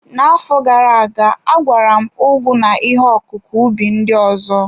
N'afọ gara aga, agwara m ugu na ihe ọkụkụ ubi ndị ọzọ.